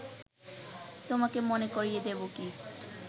তোমাকে মনে করিয়ে দেব কি